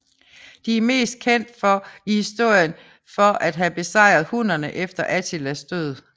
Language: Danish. De er mest kendt for i historien for at have besejret hunnerne efter Attilas død